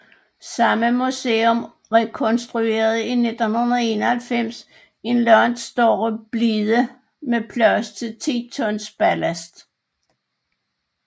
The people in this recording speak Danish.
Samme museum rekonstruerede i 1991 en langt større blide med plads til 10 tons ballast